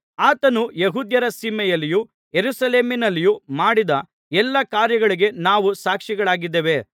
ಆತನು ಯೆಹೂದ್ಯರ ಸೀಮೆಯಲ್ಲಿಯೂ ಯೆರೂಸಲೇಮಿನಲ್ಲಿಯೂ ಮಾಡಿದ ಎಲ್ಲಾ ಕಾರ್ಯಗಳಿಗೆ ನಾವು ಸಾಕ್ಷಿಗಳಾಗಿದ್ದೇವೆ